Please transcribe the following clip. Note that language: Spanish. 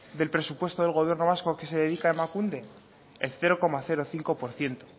del presupuesto del gobierno vasco que se dedica emakunde el cero coma cinco por ciento